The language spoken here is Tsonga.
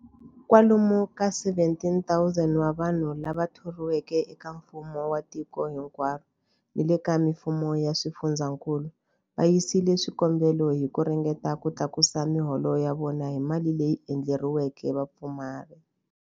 Kwalomu ka 17,000 wa vanhu lava thoriweke eka mfumo wa tiko hinkwaro ni le ka mifumo ya swifundzankulu va yisile swikombelo hi ku ringeta ku tlakusa miholo ya vona hi mali leyi endleriweke vapfumari.